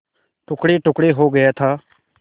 टुकड़ेटुकड़े हो गया था